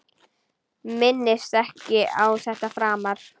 Minnist ekki á þetta framar.